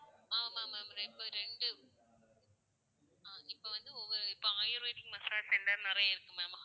ஆமா ma'am ரெ~இப்போ ரெண்டு, ஹம் இப்போ வந்து ஒவ்வொ~இப்போ ayurvedic massage center நிறைய இருக்கு ma'am